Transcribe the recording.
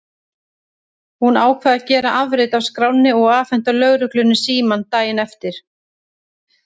Hún ákvað að gera afrit af skránni og afhenda lögreglunni símann daginn eftir.